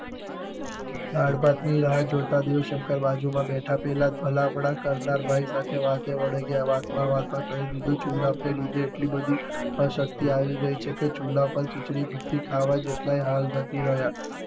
દાળ ભાત ની રાહ જોતાં દેવશંકર બાજુ માં બેઠા પહેલા ભલા પેલા કર્તારભાઈ સાથે વાતે વળગ્યાં. વાતમાં વાતમાં કહી દીધું જુલાબ ને લીધે એટલી બધી અશક્તિ આવી ગઈ છે કે ચૂલા પર ખિચડી મૂકી ખાવા જેટલા હાલ નથી રહ્યા.